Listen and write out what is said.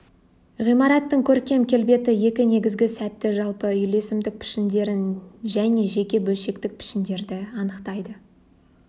ғимараттың көркем келбеті екі негізгі сәтті жалпы үйлесімдік пішіндерін және жеке бөлшектік пішіндерді анықтайды